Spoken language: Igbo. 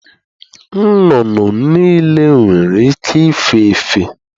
Nnụnụ niile nwere ike ife efe